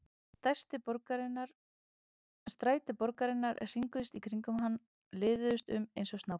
Stræti borgarinnar hringuðust í kringum hann, liðuðust um eins og snákar.